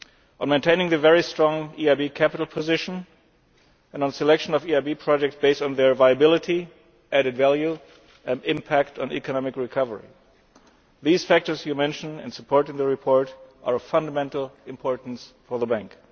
on maintaining the very strong EIB capital position, and on selection of EIB projects based on their viability, added value and impact on economic recovery. These factors you mention and support in the report are of fundamental importance for the Bank.